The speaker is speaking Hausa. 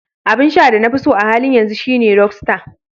Abin sha na da na fiso a halin yanzu shine "Rockstar".